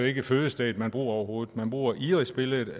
ikke fødestedet man bruger overhovedet for man bruger irisbilledet